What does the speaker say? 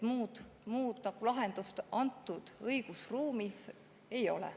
Muud lahendust praegu õigusruumis ei ole.